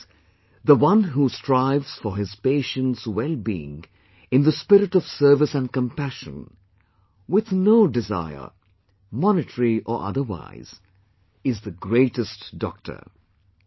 Which means The one who strives for his patient's well being in the spirit of service and compassion, with no desire, monetary or otherwise, is the greatest Doctor